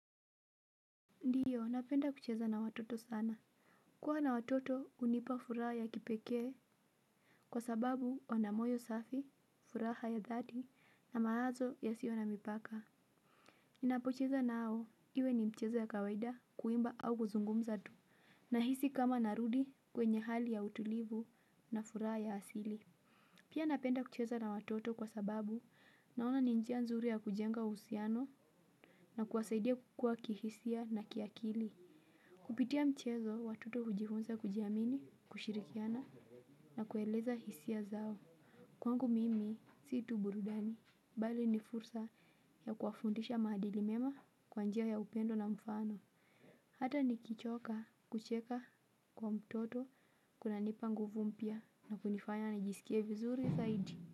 Ndiyo, napenda kucheza na watoto sana. Kuwa na watoto unipa furaha ya kipekee, kwa sababu wana moyo safi, furaha ya dhati, na maazo yasio na mipaka. Ninapocheza nao, iwe ni mchezo ya kawaida, kuimba au kuzungumza tu. Nahisi kama narudi kwenye hali ya utulivu na furaha ya asili. Pia napenda kucheza na watoto kwa sababu naona ni njia nzuri ya kujenga uhusiano, na kuwasaidia kukua kihisia na kiakili. Kupitia mchezo, watoto hujifunza kujiamini, kushirikiana, na kueleza hisia zao. Kwangu mimi, sii tu burudani, bali ni fursa ya kuwafundisha maadili mema kwa njia ya upendo na mfano. Hata nikichoka, kucheka kwa mtoto, kuna nipa nguvu mpya, na kunifanya nijisikie vizuri zaidi.